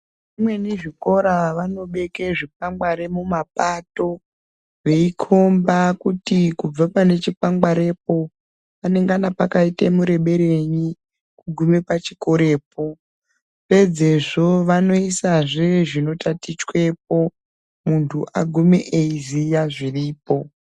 Zvimweni zvikora vanobeke zvikwangwari mumapato veikomba kuti kubva pane chikwangwarepo panengana pakaita mureberenyi kugume pachikorepo. Pedzezvo vanoisazve zvinotatichwepo muntu agume eiziya zviripo.